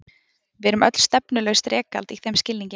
Við erum öll stefnulaust rekald í þeim skilningi.